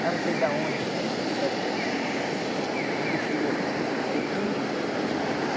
Lá não sei da onde com... É é tudo cheio de química.